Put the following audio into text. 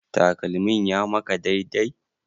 Takalmin ya maka dai dai?